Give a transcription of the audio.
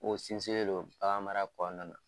O sinsinnen don bagan mara bana